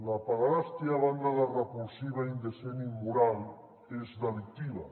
la pederàstia a banda de repulsiva indecent i immoral és delictiva